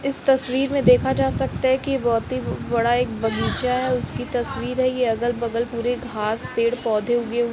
इस तस्वीर में देखा जा सकता है कि बहोत ही बडा एक बगीचा है उसकी तस्वीर है ये अलग बगल पूरे घास पेड़ पौधे उगे --